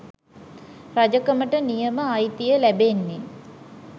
රජකමට නියම අයිතිය ලැබෙන්නේ